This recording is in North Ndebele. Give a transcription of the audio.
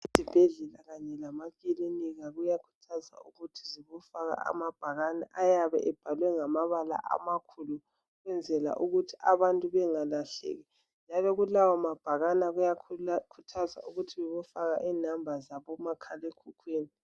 Ezibhedlela kanye lemakilinika kuyakhuthazwa ukuthi zibofaka amabhakane ayabe ebhalwe ngamabala amakhulu ukwenzela ukuthi abantu bengalahleki njalo kulawo mabhakana kuyakhuthazwa ukuthi bebofaka i number zaboma khalekhukhwini.